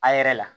A yɛrɛ la